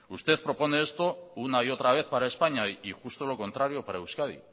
usted propone esto una y otra vez para españa y justo lo contrario para euskadi